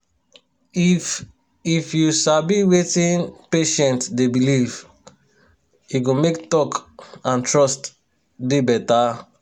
if if you sabi wetin patient dey believe e go make talk and trust dey better.